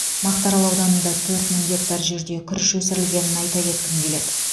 мақтарал ауданында төрт мың гектар жерде күріш өсірілгенін айта кеткім келеді